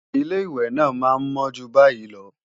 Ilé-ìwẹ̀ náà máa ń mọ́ jù báyìí lọ